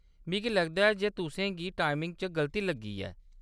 मिगी लगदा ऐ जे तुसें गी टाइमिंग च गलती लग्गी ऐ।